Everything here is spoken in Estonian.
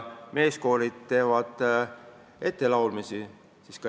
Meeskoorid teevad ettelaulmisi.